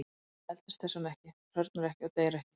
Hann eldist þess vegna ekki, hrörnar ekki og deyr ekki.